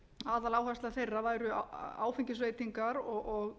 aðaláherslu þeirra væri á áfengisveitingar og